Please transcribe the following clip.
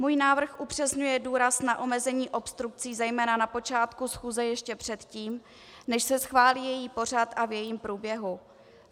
Můj návrh upřesňuje důraz na omezení obstrukcí zejména na počátku schůze ještě předtím, než se schválí její pořad a v jejím průběhu.